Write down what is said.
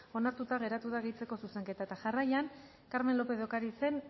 onartuta geratu da gehitzeko zuzenketa eta jarraian carmen lópez de ocarizen